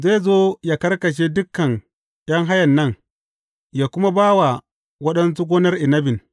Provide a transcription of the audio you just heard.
Zai zo yă karkashe dukan ’yan hayan nan, ya kuma ba wa waɗansu gonar inabin.